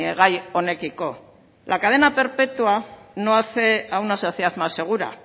gai honekiko la cadena perpetua no hace a una sociedad más segura